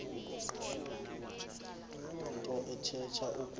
nto ithetha ukuba